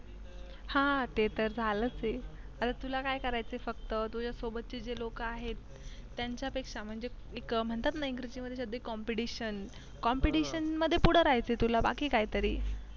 हा ते तर झालंच आहे आता तुला काय करायचं आहे फक्त तुझ्या सोबतचे जे लोक आहेत त्यांच्यापेक्षा एक म्हणतात ना इंग्लिश मध्ये competition competition मध्ये कुठे राहायचं आहे तुला बाकी काहीतरी